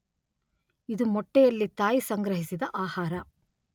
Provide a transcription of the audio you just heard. ಇದು ಮೊಟ್ಟೆಯಲ್ಲಿ ತಾಯಿ ಸಂಗ್ರಹಿಸಿದ ಆಹಾರ.